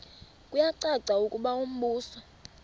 kuyacaca ukuba umbuso